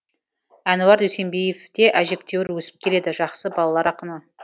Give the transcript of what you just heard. әнуар дүйсенбиев те әжептеуір өсіп келеді жақсы балалар ақыны